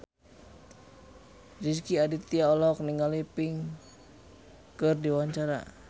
Rezky Aditya olohok ningali Pink keur diwawancara